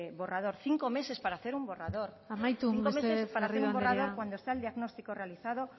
borrador amaitu mesedez garrido andrea cinco meses para terminar un borrador cuando está el diagnóstico realizado